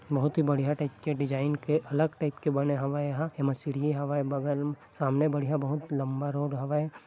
बोहत ही बढ़िया टाइप के डिज़ाइन के अलग टाइप के बने हवे यहां। इमा सीढ़ी हवे बगल में सामने बोहत बढ़िया लम्बे रोड हवे।